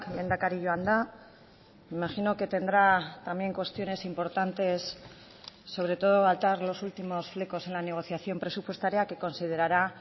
lehendakari joan da imagino que tendrá también cuestiones importantes sobre todo atar los últimos flecos en la negociación presupuestaria que considerará